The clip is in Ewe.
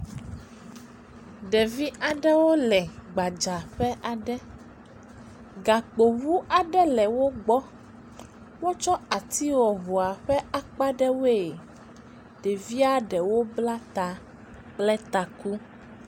Ɖevi aɖewo le gbadzaƒe aɖe. Gakpoŋu aɖe le wo gbɔ. Wotsɔ ati wɔ ŋua ƒe akpa ɖe woe. Ɖevia ɖewo bla ta kple taku.